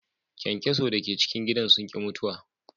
Kyankyaso da ke cikin gidan sun ki mutuwa.